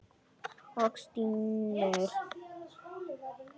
Og stynur.